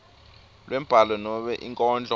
lwembhalo nobe inkondlo